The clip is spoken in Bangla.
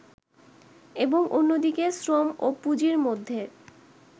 এবং অন্যদিকে শ্রম ও পুঁজির মধ্যে